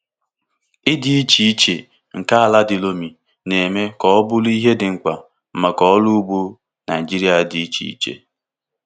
Ịdị iche iche nke ala di loamy na-eme ka ọ bụrụ ihe dị mkpa maka ọrụ ugbo Naijiria dị iche iche.